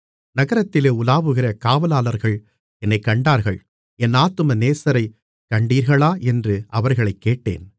நகரத்திலே உலாவுகிற காவலாளர்கள் என்னைக் கண்டார்கள் என் ஆத்தும நேசரைக் கண்டீர்களா என்று அவர்களைக் கேட்டேன்